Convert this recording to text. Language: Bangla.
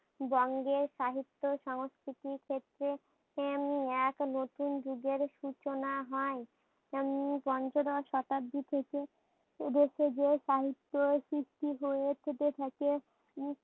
বঙ্গের সাহিত্য সংস্কৃতির ক্ষেত্রে উম এক নতুন যুগের সূচনা হয় উম পঞ্চদশ শতাব্দী থেকে এ দেশে যে সাহিত্য সৃষ্টি হয়েছে তা থেকে